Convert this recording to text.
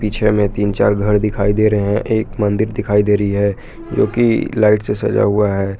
पीछे में तीन चार घर दिखाई दे रहे हैं एक मंदिर दिखाई दे रही है जो कि लाइट से सजा हुआ है।